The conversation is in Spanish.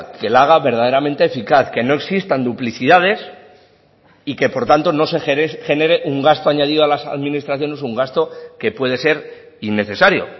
que la haga verdaderamente eficaz que no existan duplicidades y que por tanto no se genere un gasto añadido a las administraciones un gasto que puede ser innecesario